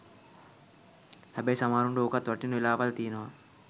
හැබැයි සමහරුන්ට ඕකත් වටිනා වෙලාවල් තියෙනවා